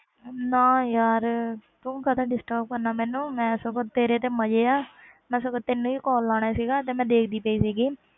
ਨਾ ਯਾਰ, ਤੂੰ ਕਾਹਦਾ disturb ਕਰਨਾ ਮੈਨੂੰ, ਮੈਂ ਸਗੋਂ ਤੇਰੇ ਤੇ ਮਜ਼ੇ ਆ ਮੈਂ ਸਗੋਂ ਤੈਨੂੰ ਹੀ call ਲਾਉਣਾ ਸੀਗਾ ਤੇ ਮੈਂ ਦੇਖਦੀ ਪਈ ਸੀਗੀ